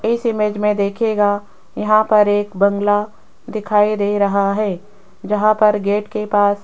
इस इमेज में देखिएगा यहां पर एक बंगला दिखाई दे रहा है जहां पर गेट के पास --